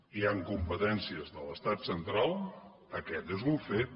hi han competències de l’estat central aquest és un fet